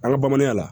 An ka bamananya la